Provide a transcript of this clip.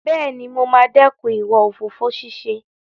Bẹ́ẹ̀ni, mo máa dẹ́kun ìwà òfófó ṣíṣe.